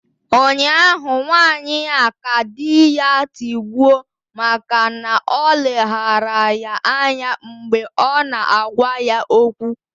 Ụnyahụ nwanyị a ka di ya tigbuo maka na o leghaara ya anya mgbe ọ na-agwa ya okwu